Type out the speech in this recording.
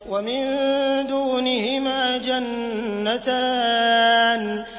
وَمِن دُونِهِمَا جَنَّتَانِ